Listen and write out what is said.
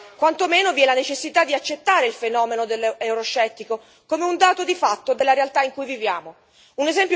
Bene, quantomeno, vi è la necessità di accettare il fenomeno euroscettico come un dato di fatto della realtà in cui viviamo.